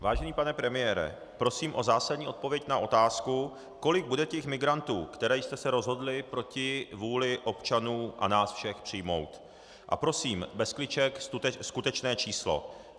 Vážený pane premiére, prosím o zásadní odpověď na otázku, kolik bude těch migrantů, které jste se rozhodli proti vůli občanů a nás všech přijmout, a prosím bez kliček, skutečné číslo.